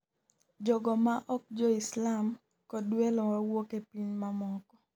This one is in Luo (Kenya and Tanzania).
Jogo ma ok jo Islam kod welo wawuok e pinje mamoko